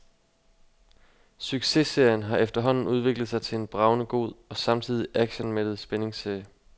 Successerien har efterhånden udviklet sig til en bragende god og samtidig actionmættet spændingsserie.